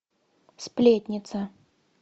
сплетница